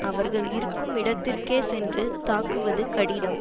அவர்கள் இருக்கும் இடத்திற்கே சென்று தாக்குவது கடினம்